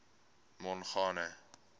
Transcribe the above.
mongane